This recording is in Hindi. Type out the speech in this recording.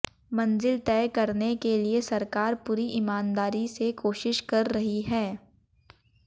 मंजिल तय करने के लिए सरकार पूरी ईमानदारी से कोशिश कर रही है